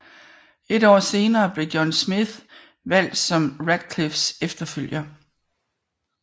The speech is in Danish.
Et år senere blev John Smith valgt som Ratcliffes efterfølger